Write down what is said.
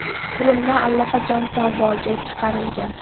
Qurilma allaqachon savdoga chiqarilgan.